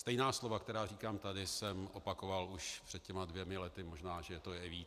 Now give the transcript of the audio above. Stejná slova, která říkám tady, jsem opakoval už před těmi dvěma lety, možná že to je i víc.